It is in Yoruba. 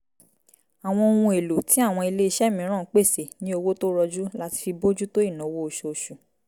àwọn ohun èlò tí àwọn ilé iṣẹ́ míràn pèsè ní owó tó rọjú láti fi bójú tó ìnáwó oṣoosù